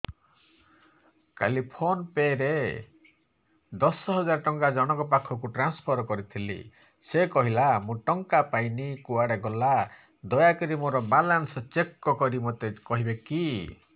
କାଲି PhonePe ରେ ଦଶ ହଜାର ଟଙ୍କା ଜଣକ ପାଖକୁ ଟ୍ରାନ୍ସଫର୍ କରିଥିଲି ସେ କହିଲା ମୁଁ ଟଙ୍କା ପାଇନି କୁଆଡେ ଗଲା ଦୟାକରି ମୋର ବାଲାନ୍ସ ଚେକ୍ କରି ମୋତେ କହିବେ କି